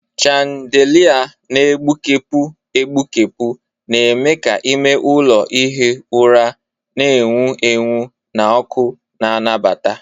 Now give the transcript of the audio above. Chandelia na-egbukepụ egbukepụ na-eme ka ime ụlọ ihi ụra na-enwu enwu na ọkụ na-anabata.